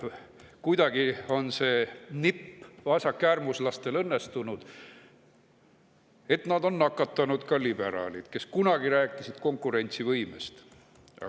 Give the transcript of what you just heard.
Kuidagi, mingi nipiga on see vasakäärmuslastel õnnestunud, et nad on nakatanud ka liberaalid, kes kunagi rääkisid konkurentsivõimest.